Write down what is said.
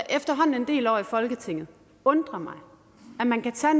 en del år i folketinget undre mig at man kan tage